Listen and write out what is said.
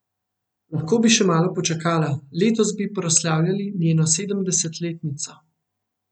Lahko bi še malo počakala, letos bi proslavljali njeno sedemdesetletnico.